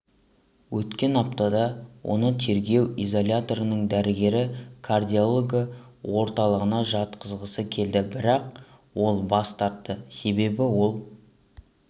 өткен аптада оны тергеу изоляторының дәрігері кардиология орталығына жатқызғысы келді бірақ ол бас тартты себебі ол